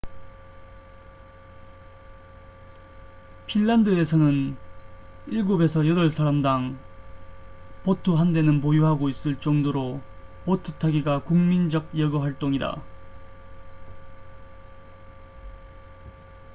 핀란드에서는 7~8사람당 보트 한 대는 보유하고 있을 정도로 보트 타기가 국민적 여가활동이다